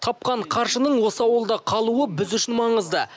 тапқан қаржының осы ауылда қалуы біз үшін маңызды